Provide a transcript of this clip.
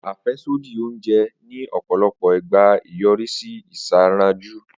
Afẹsodi onjẹ ni ọpọlọpọ igba nyorisi isanraju.